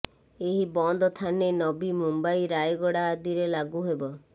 ଏହି ବନ୍ଦ ଥାନେ ନବି ମୁମ୍ବାଇ ରାୟଗଡ଼ ଆଦିରେ ଲାଗୁ ହେବ